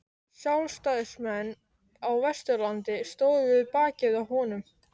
Sjálfstæðismenn á Vesturlandi stóðu við bakið á honum.